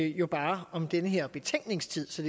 jo bare om den her betænkningstid så